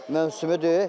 Mövsümüdür.